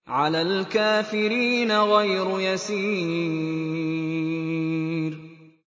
عَلَى الْكَافِرِينَ غَيْرُ يَسِيرٍ